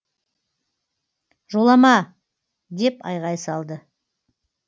жолама деп айғай салады